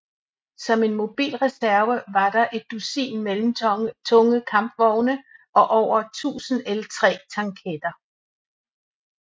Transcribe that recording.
Som en mobil reserve var der et dusin mellemtunge kampvogne og over 100 L3 tanketter